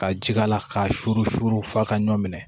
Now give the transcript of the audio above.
Ka ji k'a la k'a suru f'a ka ɲɔn minɛ